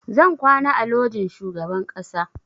Zan kwana a lojin shugaban ƙasa